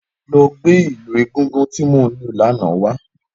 Lọ̀ gbé ilù égúngún ti mó n lù làná wá